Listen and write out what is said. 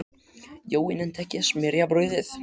Jói nennti ekkert að smyrja brauðið.